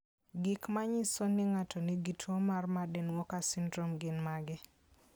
Gik manyiso ni ng'ato nigi tuwo mar Marden Walker syndrome gin mage?